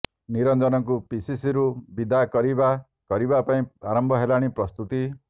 ନିରଞ୍ଜନକୁ ପିସିସିରୁ ବିଦା କରିବା କରିବ ପାଇଁ ଆରମ୍ଭ ହେଲାଣି ପ୍ରସ୍ତୁତି